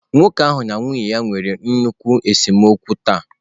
Nwoke ahụ na nwunye ya nwere nnukwu esemokwu taa.